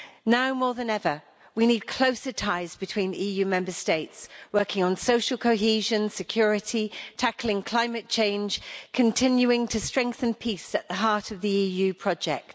Now more than ever we need closer ties between EU Member States, working on social cohesion, security, tackling climate change continuing to strengthen peace at the heart of the EU project.